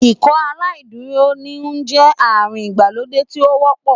Ikọaláìdúró híhún jẹ́ àrùn ìgbàlódé tí ó wọ́pọ̀